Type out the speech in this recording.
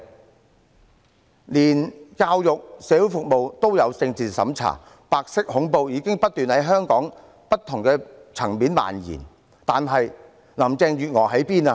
即使教育和社會服務也有政治審查，白色恐怖已不斷在香港社會的不同層面蔓延，但林鄭月娥身在何處？